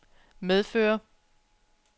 medføre